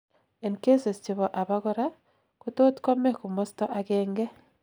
en cases chebo abakora, kotot kome komosto agengei